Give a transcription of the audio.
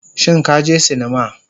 Shin ka je sinima